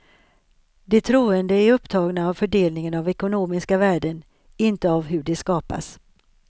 De troende är upptagna av fördelningen av ekonomiska värden, inte av hur de skapas.